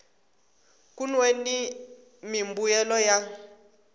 kun we ni mimbuyelo ya